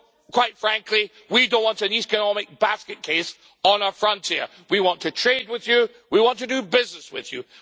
Well, quite frankly, we don't want an economic basket case on our frontier. We want to trade with you. We want to do business with you.